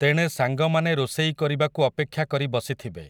ତେଣେ ସାଙ୍ଗମାନେ ରୋଷେଇ କରିବାକୁ ଅପେକ୍ଷା କରି ବସିଥିବେ ।